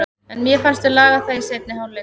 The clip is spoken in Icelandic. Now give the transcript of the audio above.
En mér fannst við laga það í seinni hálfleik.